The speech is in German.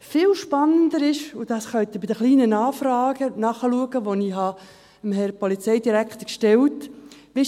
Viel spannender ist, und das können Sie bei den kleinen Nachfragen nachlesen, die ich dem Herrn Polizeidirektor gestellt habe: